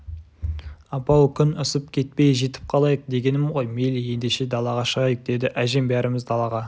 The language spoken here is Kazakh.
апа-ау күн ысып кетпей жетіп қалайық дегенім ғой мейлі ендеше далаға шығайық деді әжем бәріміз далаға